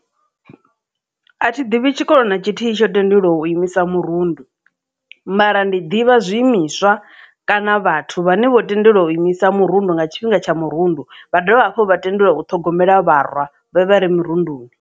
A thi ḓivhi tshikolo na tshithihi tsho tendelwa u imisa mirundu mara ndi ḓivha zwi imiswa kana vhathu vhane vho tendelwa u imisa mirundu nga tshifhinga tsha murundu vha dovha hafhu vha tendelwa u ṱhogomela vharwa vhe vhare murunduni.